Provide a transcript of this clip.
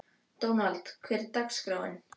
Dónald, hvernig er dagskráin?